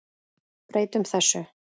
Breytum þessu.